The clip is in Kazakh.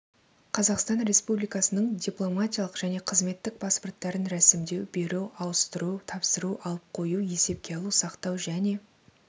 қазақстан республикасының дипломатиялық және қызметтік паспорттарын ресімдеу беру ауыстыру тапсыру алып қою есепке алу сақтау және